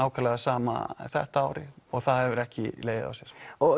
nákvæmlega sama þetta árið og það hefur ekki legið á sér